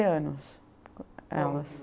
anos, elas. como que você